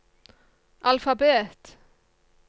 alfabet